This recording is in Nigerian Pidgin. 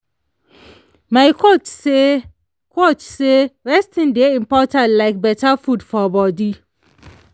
my coach say coach say resting dey important like better food for body.